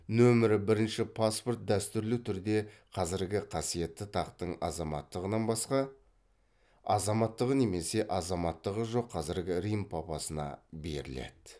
нөмірі бірінші паспорт дәстүрлі түрде қазіргі қасиетті тақтың азаматтығынан басқа азаматтығы немесе азаматтығы жоқ қазіргі рим папасына беріледі